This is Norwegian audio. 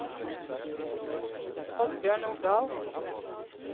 Oddbjørn Nordahl